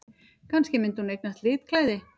Kannski myndi hún eignast litklæði!